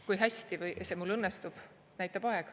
Kui hästi see mul õnnestub, näitab aeg.